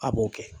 A b'o kɛ